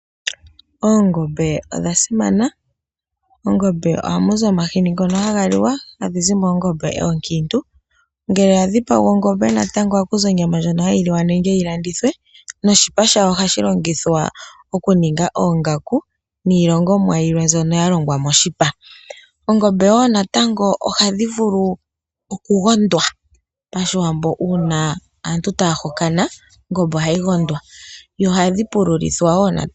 Oongombe odha simana. Mongombe ohamu zi omahini ngono haga liwa, haga zi moongombe oonkiintu. Ngele ya dhipagwa ongombe natango oha ku zi onyama ndjoka hayi liwa nenge yi landithwe, noshipa shayo ohashi longithwa oku ninga oongaku niilongamwa yilwe mbyoka ya longwa moshipa. Ongombe woo natango ohayi vulu oku gondwa pashiwambo uuna aantu ngele taya hokana, ohadhi pululitwa woo natango.